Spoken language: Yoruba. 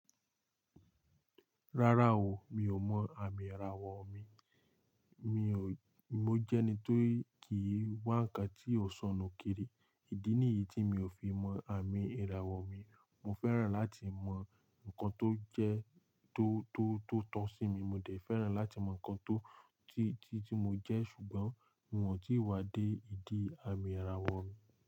Rárá o, mi ò mọ àmì ìràwọ̀ mi. Mi ò, mo jẹ́ ẹni tó kìí wá nǹkan tí ò sọnù kiri. Idí nìyí tí mi ò fi mọ àmì ìràwọ̀ mi. Mo fẹ́ràn láti mọ ǹkan tó jẹ́, tó, tó, tó tọ sí mi. Mo dẹ̀ fẹ́ràn láti mọ ǹkan tó, tí, tí, tí mo jẹ́ ṣùgbọ́n mi ọ̀ tí wá dé ìdí àmì ìràwọ̀ mi.